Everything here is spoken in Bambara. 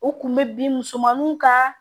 U kun bɛ bin musomaninw ka